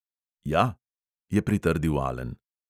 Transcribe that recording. "Ja," je pritrdil alen.